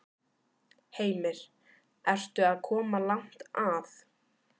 Heimir: Ertu að koma langt að?